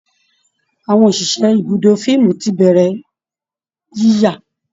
Àwọn òṣìṣẹ́ ibùdó fíìmù ti bẹ̀rẹ̀ yíyà